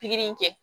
Pikiri in kɛ